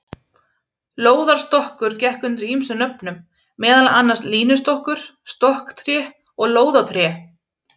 Lóðarstokkur gekk undir ýmsum nöfnum, meðal annars línustokkur, stokktré og lóðatré.